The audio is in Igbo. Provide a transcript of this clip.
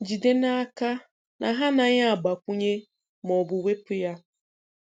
Jide n'aka na ha anaghị agbakwunye ma ọ bụ wepụ ya.